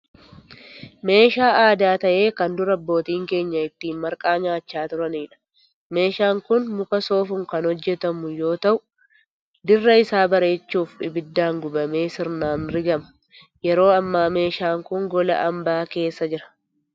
Meeshaa aadaa ta'ee kan dur abbootiin keenya ittiin marqaa nyaachaa turaniidha. Meeshaan kun muka soofuun kan hojjetamu yoo ta'u dirra isaa bareechuuf ibiddaan gubamee sirnaan rigama. Yeroo ammaa meeshaan kun gola hambaa keessa jira.